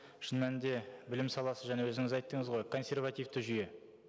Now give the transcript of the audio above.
шын мәнінде білім саласы жаңа өзіңіз айттыңыз ғой консервативті жүйе